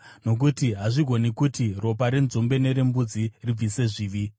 nokuti hazvigoni kuti ropa renzombe nerembudzi ribvise zvivi.